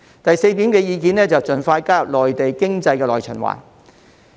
第四，是盡快加入內地經濟的內循環。